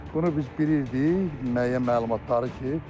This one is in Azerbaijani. Bunu biz bilirdik müəyyən məlumatları ki,